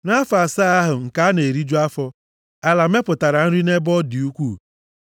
Nʼafọ asaa ahụ nke a na-eriju afọ, ala mepụtara nri nʼebe ọ dị ukwuu.